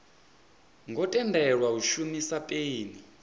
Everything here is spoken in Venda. ngo tendelwa u shumisa peni